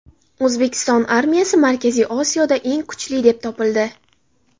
O‘zbekiston armiyasi Markaziy Osiyoda eng kuchli deb topildi.